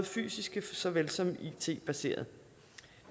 fysiske såvel som it baserede